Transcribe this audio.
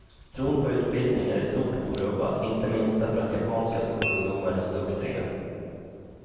Tron på utbildning är i stort orubbad, inte minst därför att japanska skolungdomar är så duktiga.